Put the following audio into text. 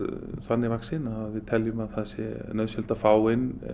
þannig vaxin að það er nauðsynlegt að fá inn